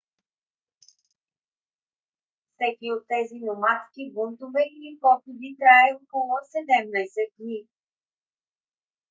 всеки от тези номадски бунтове или походи трае около 17 дни